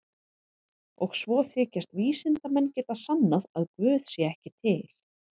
Og svo þykjast vísindamenn geta sannað að guð sé ekki til.